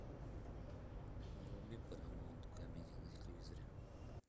вруби парамаунт камеди на телевизоре